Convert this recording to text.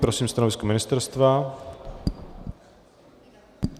Prosím stanovisko ministerstva.